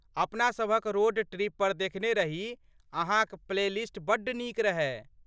अपना सभक road trip पर देखने रही, अहाँक प्लेलिस्ट बड्ड नीक रहय।